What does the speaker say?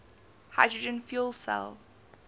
hydrogen fuel cell